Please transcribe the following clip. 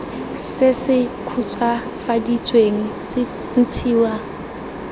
se se khutswafaditsweng se ntshiwa